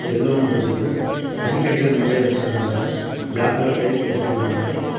Yellow இருக்குது பனிக்கட்டிகள் நறைய வச்சிருக்காங்க பிளாக் கலர் டைல்ஸ் போட்ருக்காங்க.